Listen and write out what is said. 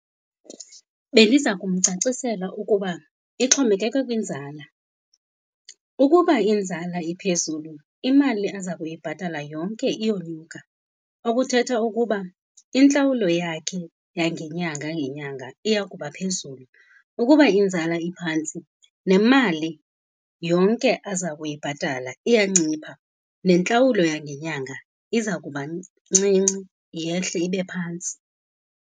Bendiza kumcacisela ukuba ixhomekeke kwinzala. Ukuba inzala iphezulu, imali aza kuyibhatala yonke iyonyuka. Okuthetha ukuba intlawulo yakhe yangenyanga ngenyanga iya kuba phezulu. Ukuba inzala iphantsi nemali yonke aza kuyibhatala iya ncipha, nentlawulo yangenyanga iza kuba ncinci, yehle ibe phantsi.